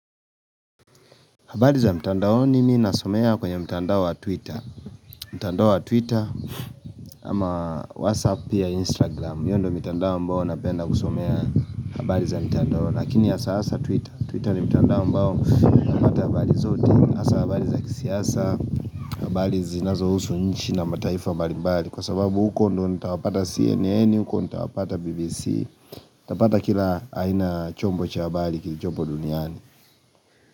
Habari za mtandao mimi nasomea kwenye mtandao wa twitter mtandao wa twitter ama whatsapp pia instagram hiyo ndio mitandao ambao napenda kusomea habari za mtandao Lakini hasa hasa twitter Twitter ni mtandao mbao napata habari zote hasa habari za kisiasa habari zinazohusu nchi na mataifa mbali mbali Kwa sababu huko ndio nitawapata CNN, huko nitawapata BBC Tapata kila haina chombo cha habali kilichombo duniani.